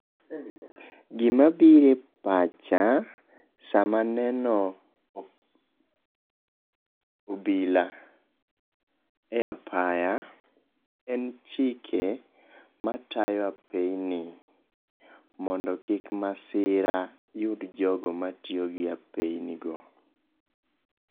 Gima biro epacha sama aneno obila e apaya, en chike matayo apeyini mondo kik masira yud jogo matiyo gi apeyinigo.